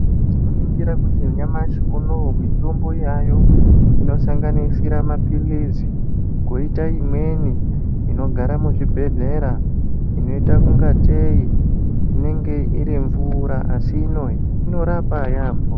Tinoningira kuti nyamashi unowu mitombo yaayo inosanganisira mapilizi koita imweni inogara muzvibhedhlera inoita ungatei inenge iri mvura asi inorapa yaambho.